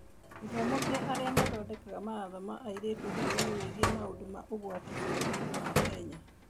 Gĩthomo kĩa arĩa mathondekaga mawatho na Airĩtu ũhoro-inĩ wĩgiĩ maũndũ ma ũgwati bũrũriinĩ wa Kenya